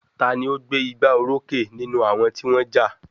Ta ni ó gbé igbá orókè nínú àwọn tí wọ́n ja?